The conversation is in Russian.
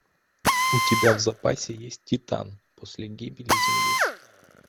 у тебя в запасе есть титан после гибели земли